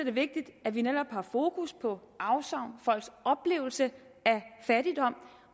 er vigtigt at vi netop har fokus på afsavn folks oplevelse af fattigdom